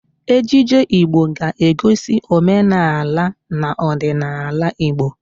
Ejije Igbo ga-egosi omenaala na ọdịnaala Igbo